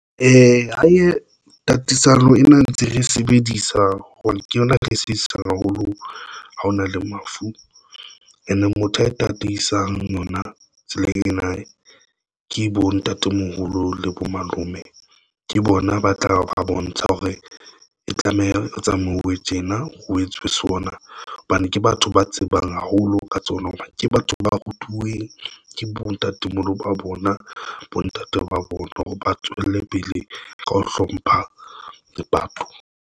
Tatisa palo ena ntse re sebedisa hobane ke yona re sitisang haholo ha hona le mafu and motho a tataisang yona. Tsela ena ke e bo ntatemoholo le bo malome. Ke ng bona ba tla ba bontsha hore e tlameha ho tsamauwe tjena ho etswe sona hobane ke batho ba tsebang haholo ka tsona hobane ke batho ba rutuweng ke bo ntatemoholo ba bona, bontate ba bona hore ba tswele pele ka ho hlompha lepato.